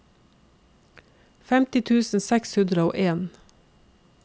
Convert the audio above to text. femti tusen seks hundre og en